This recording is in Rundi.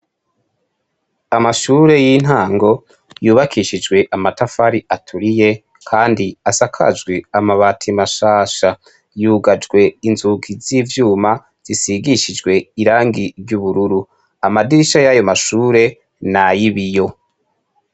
Amashure y'intango yubakishijwe amatafari aturiye kandi asakajwe amabati mashasha. Yugajwe inzugi z'ivyuma zisigishijwe irangi ry'ubururu. Amadirisha yayo mashure n’ay'ibiyo.